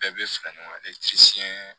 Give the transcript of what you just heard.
Bɛɛ bɛ fara ɲɔgɔn